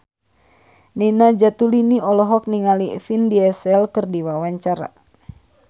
Nina Zatulini olohok ningali Vin Diesel keur diwawancara